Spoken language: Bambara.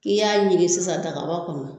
K'i y'a ɲinin sisan dagaba kɔnɔna.